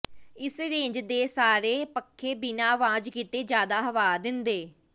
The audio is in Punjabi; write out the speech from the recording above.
ਇਸ ਰੇਂਜ ਦਾ ਸਾਰੇ ਪੱਖੇ ਬਿਨਾਂ ਆਵਾਜ਼ ਕੀਤੇ ਜ਼ਿਆਦਾ ਹਵਾ ਦਿੰਦੇ